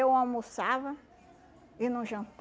Eu almoçava e não